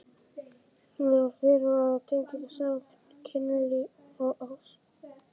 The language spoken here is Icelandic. Mér var fyrirmunað að tengja saman kynlíf og ást.